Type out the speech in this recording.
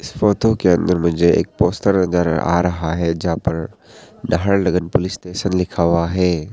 इस फोटो के अंदर मुझे एक पोस्टर नजर आ रहा है जहां पर नहर लगन पुलिस स्टेशन लिखा हुआ है।